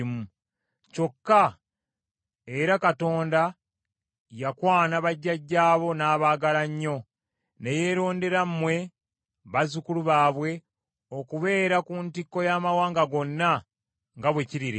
Kyokka era Mukama yakwana bajjajjaabo n’abaagala nnyo, ne yeerondera mmwe, bazzukulu baabwe, okubeera ku ntikko y’amawanga gonna nga bwe kiri leero.